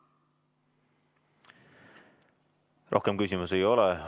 Rohkem küsimusi ei ole.